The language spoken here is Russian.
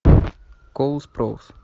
коул спроус